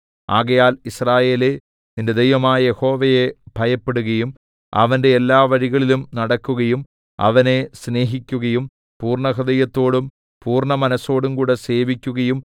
ആകയാൽ യിസ്രായേലേ നിന്റെ ദൈവമായ യഹോവയെ ഭയപ്പെടുകയും അവന്റെ എല്ലാ വഴികളിലും നടക്കുകയും അവനെ സ്നേഹിക്കുകയും പൂർണ്ണഹൃദയത്തോടും പൂർണ്ണ മനസ്സോടുംകൂടെ സേവിക്കുകയും